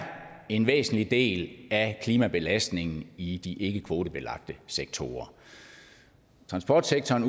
en væsentlig del af klimabelastningen i de ikkekvotebelagte sektorer transportsektoren